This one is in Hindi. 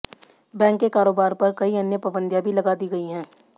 बैंक के कारोबार पर कई अन्य पाबंदियां भी लगा दी गई हैं